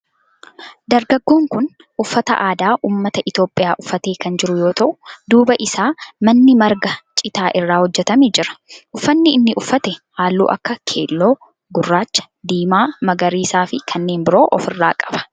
Dargaggoon kun uffata aadaa ummata Itiyoophiyaa uffatee kan jiru yoo ta'u duuba isaa manni marga citaa irraa hojjetame jira. Uffanni inni uffate halluu akka keelloo, gurraacha, diimaa, magariisaa fi kanneen biroo of irraa qaba.